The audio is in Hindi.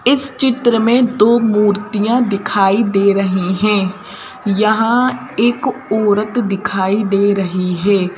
इस चित्र में दो मूर्तियां दिखाई दे रही हैं यहां एक औरत दिखाई दे रही है।